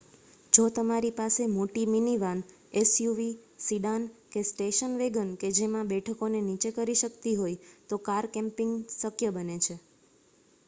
જો તમારી પાસે મોટી મિનિવાન એસયુવી સિડાન કે સ્ટેશન વેગન કે જેમાં બેઠકોને નીચે કરી શકતી હોય તો કાર કેમ્પિંગ શક્ય બને છે